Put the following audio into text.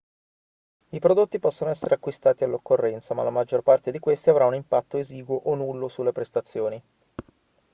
i prodotti possono essere acquistati all'occorrenza ma la maggior parte di questi avrà un impatto esiguo o nullo sulle prestazioni